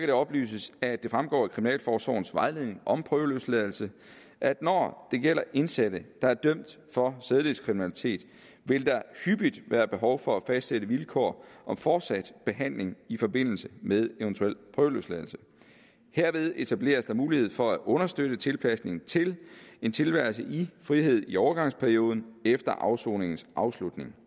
det oplyses at det fremgår af kriminalforsorgens vejledning om prøveløsladelse at når det gælder indsatte der er dømt for sædelighedskriminalitet vil der hyppigt være behov for at fastsætte vilkår om fortsat behandling i forbindelse med eventuel prøveløsladelse herved etableres der mulighed for at understøtte tilpasning til en tilværelse i frihed i overgangsperioden efter afsoningens afslutning